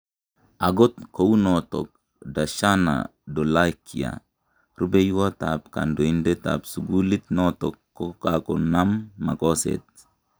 Angot kounotok, Darshana Dholakia, rupeywot ab kandoindet ab sugulit notok kokonam makoset